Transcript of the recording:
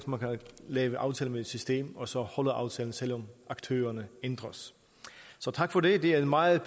lave aftaler med et system og så holder aftalerne selv om aktørerne ændres så tak for det det er et meget